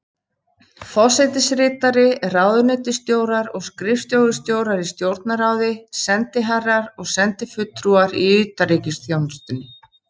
Forsetaritari, ráðuneytisstjórar og skrifstofustjórar í Stjórnarráði, sendiherrar og sendifulltrúar í utanríkisþjónustunni.